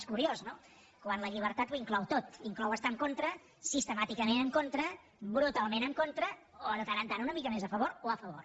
és curiós no quan la llibertat ho inclou tot inclou estar en contra sistemàticament en contra brutalment en contra o de tant en tant una mica més a favor o a favor